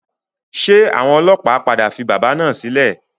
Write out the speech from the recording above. Ṣé àwọn ọlọ́pàá padà fi bábà náà sílẹ̀?